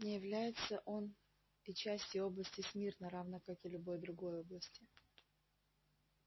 не является он и частью области смирно равно как и любой другой области